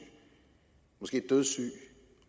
måske dødssygt